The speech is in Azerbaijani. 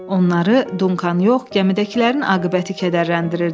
Onları Dunkanı yox, gəmidəkilərin aqibəti kədərləndirirdi.